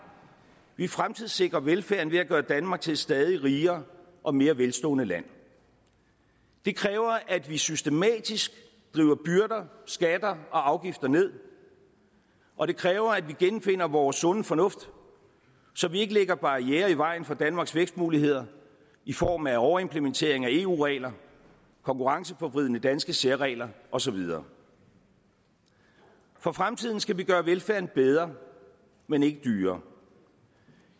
vi fremtidssikrer velfærden ved at gøre danmark til et stadig rigere og mere velstående land det kræver at vi systematisk driver byrder skatter og afgifter ned og det kræver at vi genfinder vores sunde fornuft så vi ikke lægger barrierer i vejen for danmarks vækstmuligheder i form af overimplementering af eu regler konkurrenceforvridende danske særregler og så videre for fremtiden skal vi gøre velfærden bedre men ikke dyrere